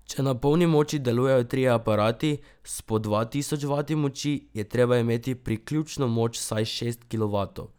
Če na polni moči delujejo trije aparati s po dva tisoč vati moči, je treba imeti priključno moč vsaj šest kilovatov.